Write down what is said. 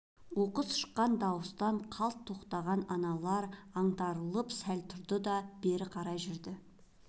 оқыс шыққан дауыстан қалт тоқтаған аналар аңтарылып сәл тұрды да бері қарай жүрді